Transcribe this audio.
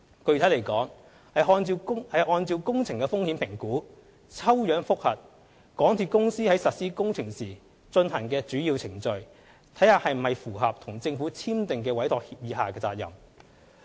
具體來說，是按照工程的風險評估，抽樣覆核港鐵公司在實施工程時進行的主要程序是否符合與政府簽訂的委託協議下的責任。